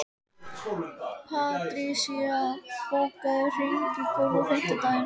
Patrisía, bókaðu hring í golf á fimmtudaginn.